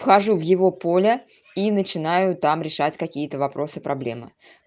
хожу в его поля и начинаю там решать какие-то вопросы проблемы